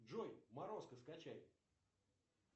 джой морозко скачай